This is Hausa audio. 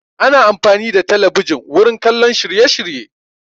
Ana amfani da talabijin wurin kallon shirye shirye